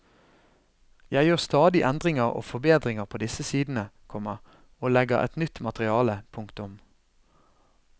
Jeg gjør stadig endringer og forbedringer på disse sidene, komma og legger til nytt materiale. punktum